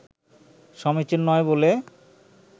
সমীচীন নয় বলে